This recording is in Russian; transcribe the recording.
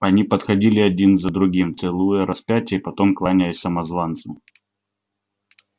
они подходили один за другим целуя распятие и потом кланяясь самозванцу